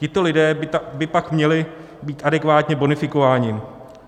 Tito lidé by pak měli být adekvátně bonifikováni.